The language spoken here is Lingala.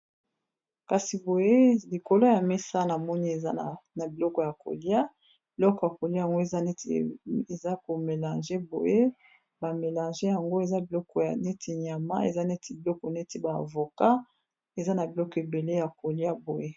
Kasi boye likolo ya mesa na moni eza na biloko ya kolia biloko ya kolia yango eza neti eza ko melange boye ba melange yango eza biloko ya neti nyama eza neti biloko neti ba avocat eza na biloko ebele ya kolia boye.